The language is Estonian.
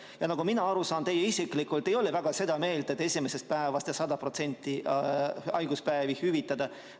Ja nagu mina aru saan, teie isiklikult ei ole väga seda meelt, et esimesest päevast 100% ulatuses haiguspäevi hüvitada.